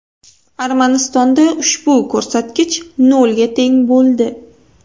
Armanistonda ushbu ko‘rsatkich nolga teng bo‘ldi.